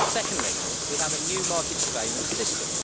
Secondly, we have a new market surveillance system.